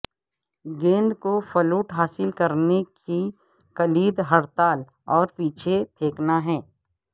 گیند کو فلوٹ حاصل کرنے کی کلید ہڑتال اور پیچھے پھینکنا ہے